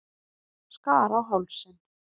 Skar á hálsinn.